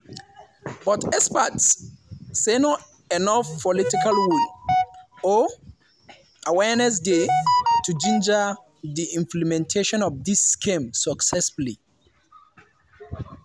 but experts say no enof political will or awareness dey to ginger di implementation of dis scheme successfully.